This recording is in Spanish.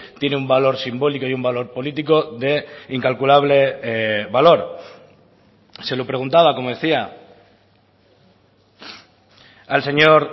tiene un valor simbólico y un valor político de incalculable valor se lo preguntaba como decía al señor